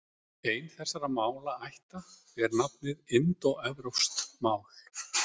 Ein þessara málaætta ber nafnið indóevrópsk mál.